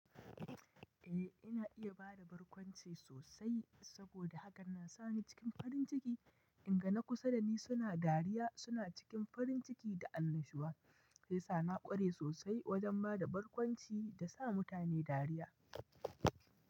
Eh ina iya bada barkwanci sosai saboda hakan na sa ni cikin farin ciki in ga na kusa dani suna dariya suna cikin farin ciki da annashuwa. Saisa na ƙware sosai wajen bada barkwanci da sa mutane dariya.